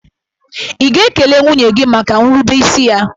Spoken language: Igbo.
Ị̀ ga-ekele nwunye gị maka nrubeisi ya?